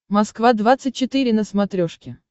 москва двадцать четыре на смотрешке